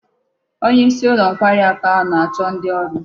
Onye isi ulo nkwari aku ahu na-acho ndi oru